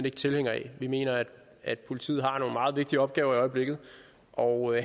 ikke tilhængere af vi mener at politiet har nogle meget vigtige opgaver i øjeblikket og